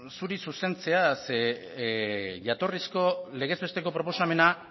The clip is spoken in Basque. zuri zuzentzea ze jatorrizko legez besteko proposamena